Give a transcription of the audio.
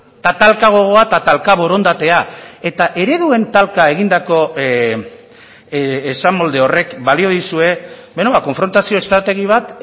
eta talka gogoa eta talka borondatea eta ereduen talka egindako esamolde horrek balio dizue konfrontazio estrategi bat